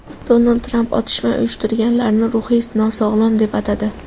Donald Tramp otishma uyushtirganlarni ruhiy nosog‘lom deb atadi.